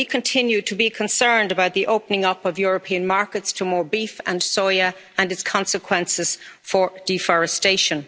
We continue to be concerned about the opening up of European markets to more beef and soya and its consequences for deforestation.